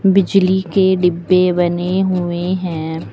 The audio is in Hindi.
बिजली के डिब्बे बने हुए हैं।